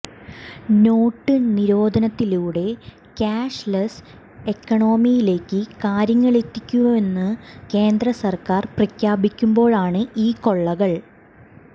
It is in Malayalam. നോട്ട് നിരോധനത്തിലൂടെ കാഷ് ലെസ് എക്കണോമിയിലേക്ക് കാര്യങ്ങളെത്തിക്കുമെന്ന് കേന്ദ്ര സർക്കാർ പ്രഖ്യാപിക്കുമ്പോഴാണ് ഈ കൊള്ളകൾ